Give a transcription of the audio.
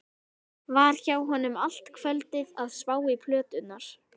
Var hjá honum allt kvöldið að spá í plöturnar.